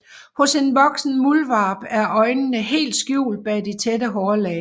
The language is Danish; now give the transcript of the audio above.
Hos en voksen muldvarp er øjnene helt skjult bag det tætte hårlag